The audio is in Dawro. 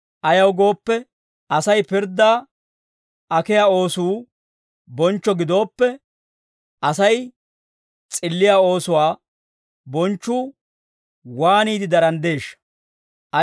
Ayaw gooppe, Asay pirddaa akkiyaa oosuu bonchcho gidooppe, Asay s'illiyaa oosuwaa bonchchuu waaniide daranddeeshsha?